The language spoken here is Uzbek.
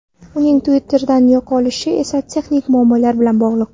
Uning Twitter’dan yo‘qolishi esa texnik muammolar bilan bog‘liq.